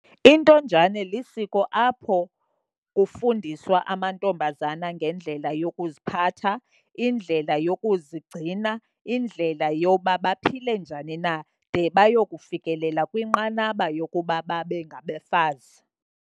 Intonjane lisiko apho kufundiswa amantombazana ngendlela yokuziphatha, indlela yokuzigcina, indlela yoba baphile njani na de bayokufikelela kwinqanaba yokuba babe ngabafazi.